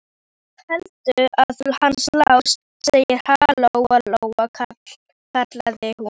Hvað heldurðu að hann Lási segði, ha, Lóa-Lóa, kallaði hún.